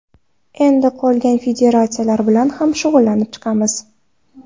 Endi qolgan federatsiyalar bilan ham shug‘ullanib chiqamiz.